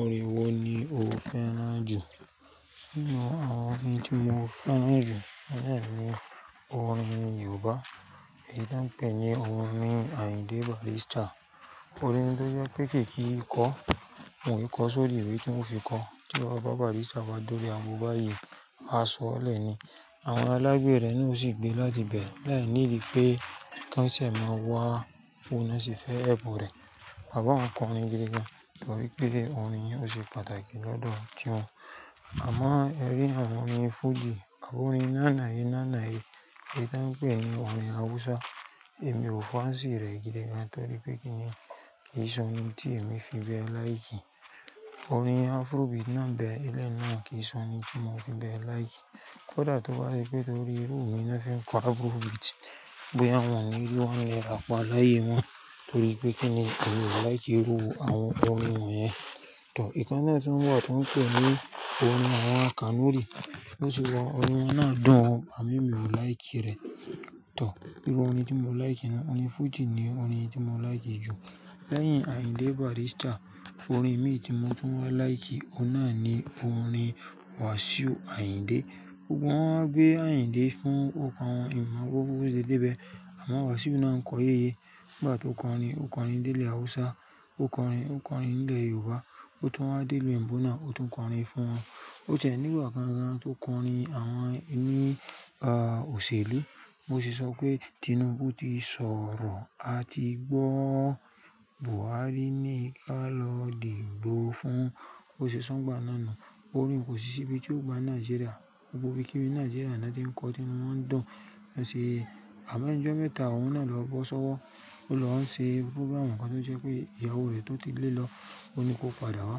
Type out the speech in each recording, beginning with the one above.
Orin wo ni o fẹ́ràn jù? Nínú àwọn orin tí mo fẹ́ràn jù, láìpẹ́ ni orin Yorùbá, èyí tí wọ́n pè ní orin Ayinde Barrister. Orin tó jẹ́ pé kìí kí ìkọ́, òun ìkọ́ sórí ìwé tí òun fi kọ. Tí ọba Barrister bá dúró, ago báyìí máa sọ̀lẹ̀ ni. Àwọn alágbẹ̀ rẹ̀ ni ó sì gbé láti ibẹ̀. Láyi nídi pé ká ìsẹ̀ máa wá, bó náà sì fẹ́ ẹpu rẹ̀. Bàbá òun kọrin gidi gan, torí pé orin yẹn ò sì pàtàkì lọ́dọ̀ tí wọn. Àmọ́ ẹ rí àwọn orin fújì, orin nánà yẹn nánà yẹn, ìdánpèní orin Hausa, èmi ò fàǹsi rẹ̀ gidi gan, torí pé kíni kì í sọnu tí èmi fi bẹ láyiki. Orin Afrobeat náà dẹ eléyìí náà kì í sọnu tí mo fi bẹ láì kí. Kódà tó bá rí pé torí irú mi náà fi kó Afrobeat bóyá wọn ni ri one naira pá láyé wọn, torí pé kíni èmi ò láì kí irú àwọn orin wọ́n yẹn. Tọ̀, ìkán náà tí ń wá tí ń pè ní orin àwọn Kanuri, tó sì wa orin náà dán, àmọ́ èmi ò láì kí rẹ̀. Tọ̀, nínú àwọn orin tí mo láì kí náà ni orin fújì ni orin tí mo láì kí jù. Lẹ́yìn Ayinde Barrister, orin mí tí mo tún wá láì kí, òun náà ni orin Wasiu Ayinde. Gbogbo wọ́n wá gbé Ayinde fún ọkọ wọn, èmo mọ gbogbo bó ṣe dé ibẹ̀. Àmọ́ Wasiu náà ń kọ yéye. Nígbà tó kọrin, ó kọrin ní ilẹ̀ Hausa, ó kọrin, ó kọrin ní ilẹ̀ Yorùbá, ó tún wá dé ìlú òyìnbó, ó tún kọrin fún wọn. Ó tiẹ́ nígbà kàn gán tó kọrin àwọn ẹni, òṣèlú. Bó ṣe sọ pé Tinubu ti sọ̀rọ̀, a ti gbọ́ Buhari ni ká lọ dìbò fún. Bó ṣe so n gbà náà nu. Orin kò sì síbi tí ó gba Nàìjíríà. Gbogbo ibí kíbi ni Nàìjíríà náà ti ń kọ, tí inú wọn ń dùn. Ó ṣe, àmọ́ ẹnu ọjọ́ mẹ́ta, òun náà lọ bọ́ sọ́wọ́. Ó lọ ṣe púrógírámù kan tó jẹ́ pé ìyàwó rẹ̀ tó ti lé lọ, òní kó padà wá.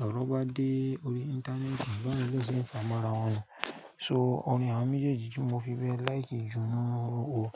Lọ̀rọ̀ bá dé orí ìntánẹ́ẹ̀tì, wọ́n náà sì ń fà mọ́ ara wọn. So orin àwọn méjèèjì tí mo fi bẹ láì kí jù nínú orin.